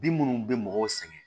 Bin minnu bɛ mɔgɔw sɛgɛn